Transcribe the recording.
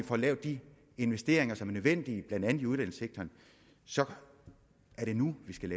få lavet de investeringer som er nødvendige blandt andet i uddannelsessektoren så er nu vi skal